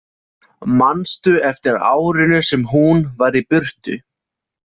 Manstu eftir árinu sem hún var í burtu?